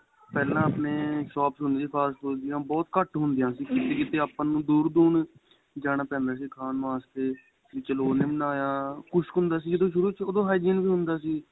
ਪਹਿਲਾਂ ਆਪਣੇਂ shops ਹੁੰਦੀਆਂ ਸੀ fast food ਦੀਆਂ ਬਹੁਤ ਘੱਟ ਹੁੰਦੀਆਂ ਸੀ ਕਿਥੇ ਕਿਥੇ ਆਪਾਂ ਨੂੰ ਦੂਰ ਦੂਰ ਜਾਣਾ ਪੈਂਦਾ ਸੀ ਖਾਣ ਵਾਸਤੇ ਚਲੋਂ ਉਹਨੇ ਬਣਾਇਆ ਕੁੱਛ ਹੁੰਦਾ ਸੀ ਸ਼ੁਰੂ ਵਿੱਚ ਉਹ ਹਜ਼ਮ ਵੀ ਹੁੰਦਾ ਸੀ